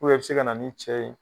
i bi se ka na n'i cɛ ye.